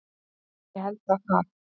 Ég held að það